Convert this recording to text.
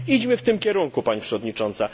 Idźmy w tym kierunku, Pani Przewodnicząca.